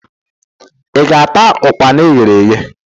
I ga-ata ukpana eghere eghe?